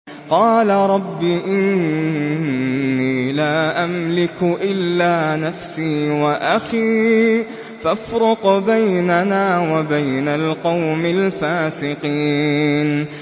قَالَ رَبِّ إِنِّي لَا أَمْلِكُ إِلَّا نَفْسِي وَأَخِي ۖ فَافْرُقْ بَيْنَنَا وَبَيْنَ الْقَوْمِ الْفَاسِقِينَ